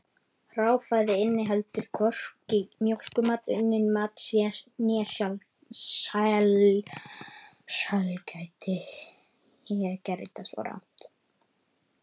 Hráfæði inniheldur hvorki mjólkurmat, unnin mat né sælgæti.